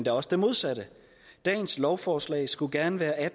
er også det modsatte dagens lovforslag skulle gerne være